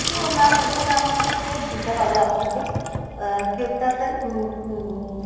যেহেতু mam এখানে আমাকে cheque দিতে হবে আপনাকে cheque টা একটাই উম উম